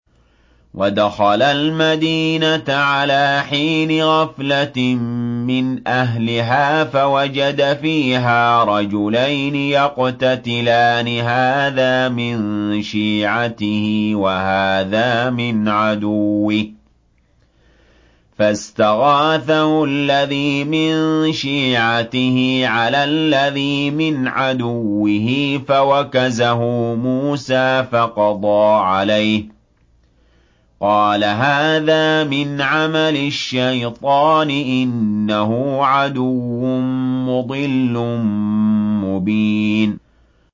وَدَخَلَ الْمَدِينَةَ عَلَىٰ حِينِ غَفْلَةٍ مِّنْ أَهْلِهَا فَوَجَدَ فِيهَا رَجُلَيْنِ يَقْتَتِلَانِ هَٰذَا مِن شِيعَتِهِ وَهَٰذَا مِنْ عَدُوِّهِ ۖ فَاسْتَغَاثَهُ الَّذِي مِن شِيعَتِهِ عَلَى الَّذِي مِنْ عَدُوِّهِ فَوَكَزَهُ مُوسَىٰ فَقَضَىٰ عَلَيْهِ ۖ قَالَ هَٰذَا مِنْ عَمَلِ الشَّيْطَانِ ۖ إِنَّهُ عَدُوٌّ مُّضِلٌّ مُّبِينٌ